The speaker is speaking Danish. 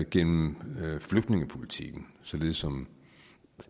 gennem flygtningepolitikken således som